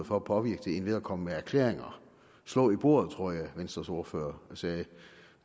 for at påvirke det end ved at komme med erklæringer slå i bordet tror jeg venstres ordfører sagde